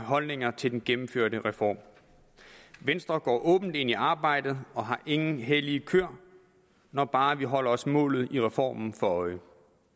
holdninger til den gennemførte reform venstre går åbent ind i arbejdet og har ingen hellige køer når bare vi holder os målet i reformen for øje